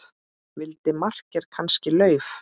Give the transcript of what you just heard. Vildi makker kannski LAUF?